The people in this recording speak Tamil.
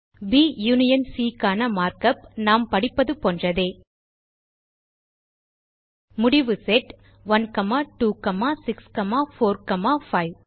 ப் யூனியன் சி க்கான மார்க் உப் நாம் படிப்பது போன்றதே முடிவு செட் 1 2 6 4 மற்றும் 5